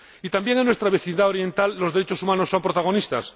También en nuestra vecindad oriental los derechos humanos son protagonistas.